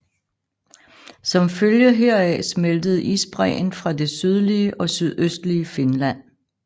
Som følge heraf smeltede isbræen fra det sydlige og sydøstlige Finland